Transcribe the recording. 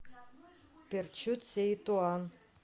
перчут сеи туан